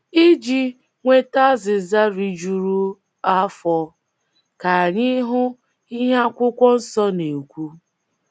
Iji um nweta azịza rijuru afọ, ka anyị hụ ihe akwụkwọ nsọ na - ekwu.